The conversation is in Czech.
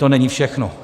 To není všechno.